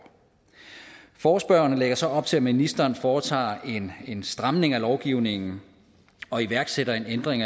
forespørgerne lægger så op til at ministeren foretager en stramning af lovgivningen og iværksætter en ændring